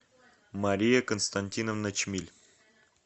мария константиновна чмиль